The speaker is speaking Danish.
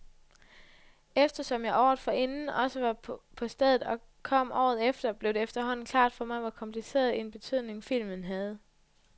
Eftersom jeg året forinden også var på stedet og kom året efter, blev det efterhånden klart for mig, hvor kompliceret en betydning filmen havde.